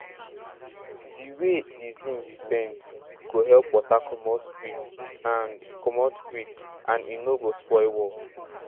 di way di zinc bend go help water comot quick and comot quick and e no go spoil wall